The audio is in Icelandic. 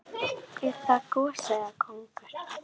Er það gosi eða kóngur?